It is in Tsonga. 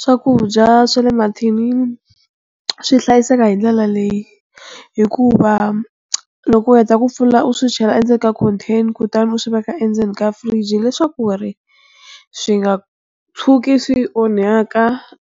Swakudya swa le mathinini swi hlayiseka hi ndlela leyi hikuva loko u heta ku pfula u swi chela endzeni ka contain kutani u swi veka endzeni ka fridge hileswaku ri swi nga tshuki swi onhaka